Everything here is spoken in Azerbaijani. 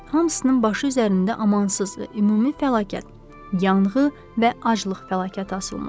Hamısının başı üzərində amansız və ümumi fəlakət, yanğı və aclıq fəlakəti asılmışdı.